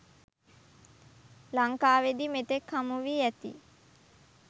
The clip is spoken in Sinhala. ලංකාවේදී මෙතෙක් හමු වී ඇති